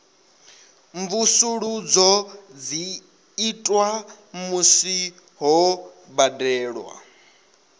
mvusuludzo dzi itwa musi ho badelwa